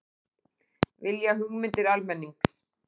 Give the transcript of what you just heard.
Vilja hugmyndir almennings